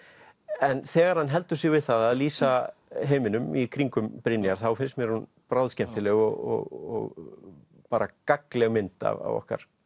en þegar hann heldur sig við það að lýsa heiminum í kringum Brynjar þá finnst mér hún bráðskemmtileg og bara gagnleg mynd af okkar